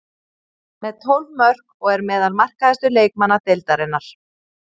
Með tólf mörk og er meðal markahæstu leikmanna deildarinnar.